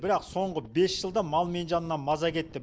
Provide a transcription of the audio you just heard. бірақ соңғы бес жылда мал мен жаннан маза кетті